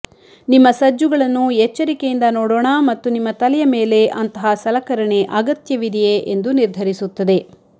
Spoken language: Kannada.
ನಿಮ್ಮ ಸಜ್ಜುಗಳನ್ನು ಎಚ್ಚರಿಕೆಯಿಂದ ನೋಡೋಣ ಮತ್ತು ನಿಮ್ಮ ತಲೆಯ ಮೇಲೆ ಅಂತಹ ಸಲಕರಣೆ ಅಗತ್ಯವಿದೆಯೇ ಎಂದು ನಿರ್ಧರಿಸುತ್ತದೆ